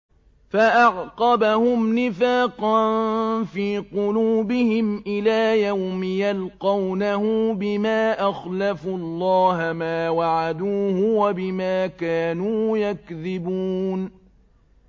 فَأَعْقَبَهُمْ نِفَاقًا فِي قُلُوبِهِمْ إِلَىٰ يَوْمِ يَلْقَوْنَهُ بِمَا أَخْلَفُوا اللَّهَ مَا وَعَدُوهُ وَبِمَا كَانُوا يَكْذِبُونَ